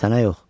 Sənə yox.